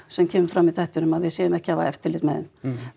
sem kemur fram í þættinum að við séum ekki að hafa eftirlit með þeim